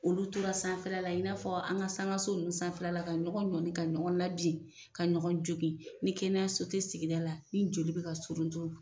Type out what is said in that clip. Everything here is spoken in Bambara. Olu tora sanfɛ la i n'a fɔ an ka sankaso ninnu sanfɛla ka ɲɔgɔn ɲɔni ka ɲɔgɔn labin ka ɲɔgɔn jogin, ni kɛnɛyaso tɛ sigida la, ni joli bɛ ka suruntun .